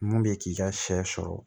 Mun bɛ k'i ka sɛ sɔrɔ